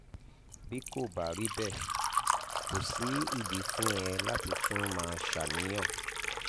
bí kò bá rí bẹ́ẹ̀ kò sí ìdí fún ẹ láti tún máa ṣàníyàn